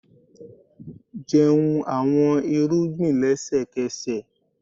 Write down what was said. jẹun awọn irugbin lẹsẹkẹsẹ!